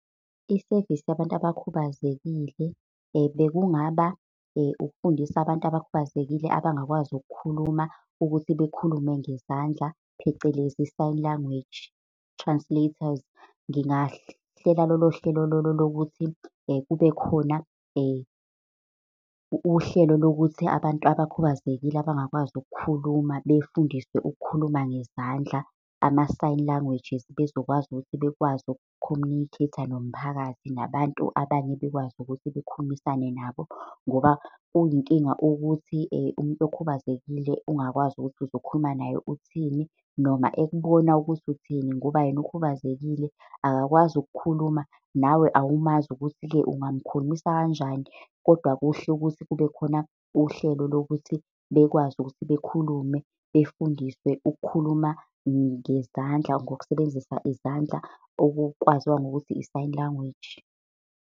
Isevisi yabantu abakhubazekile bekungaba ukufundisa abantu abakhubazekile abangakwazi ukukhuluma, ukuthi bekhulume ngezandla, phecelezi sign language translators. Ngingahlela lolo hlelo lolo lokuthi kube khona uhlelo lokuthi abantu abakhubazekile, abangakwazi ukukhuluma befundiswe ukukhuluma ngezandla, ama-sign languages, bezokwazi ukuthi bekwazi uku-communicate-a nomphakathi. Nabantu abanye bekwazi ukuthi bekhulumisane nabo, ngoba kuyinkinga ukuthi umuntu okhubazekile ungakwazi ukuthi uzokhuluma naye uthini, noma ekubona ukuthi uthini, ngoba yena ukhubazekile akakwazi ukukhuluma nawe awumazi ukuthi-ke ungamukhulumisa kanjani. Kodwa kuhle ukuthi kubekhona uhlelo lokuthi bekwazi ukuthi bekhulume, befundiswe ukukhuluma ngezandla ngokusebenzisa izandla, okukwaziwa ngokuthi i-sign language.